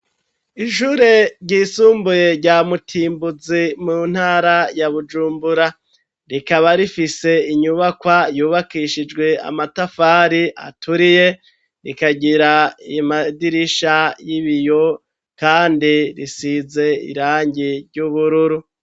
Ishure ryisumbuye rya mutimbuzi, mu ntara ya bujumbura, rikaba rifise inyubakwa yubakishijwe amatafari aturiye, rikagira imadirisha y'ibiyo ,kandi risize irangi ry'ubururu.